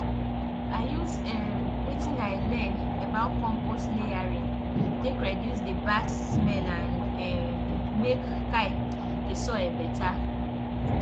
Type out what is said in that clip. i i use um wetin i learn about compost layering take reduce the bad smell and um make um the soil better